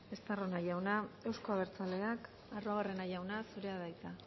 eskerrik asko estarrona jauna euzko abertzaleak arruabarrena jauna zurea da hitza